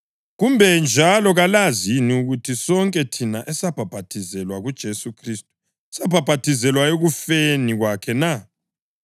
Kumbe njalo kalazi yini ukuthi sonke thina esabhaphathizelwa kuJesu Khristu sabhaphathizelwa ekufeni kwakhe na?